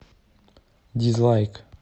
дизлайк